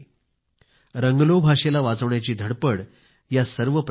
रंगलो भाषेला वाचवण्याची धडपड ह्या सर्व प्रयत्नात आहे